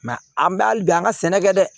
an bɛ hali bi an ka sɛnɛ kɛ dɛ